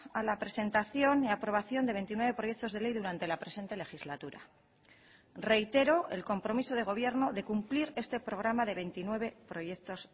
a la presentación y aprobación de veintinueve proyectos de ley durante la presente legislatura reitero el compromiso de gobierno de cumplir este programa de veintinueve proyectos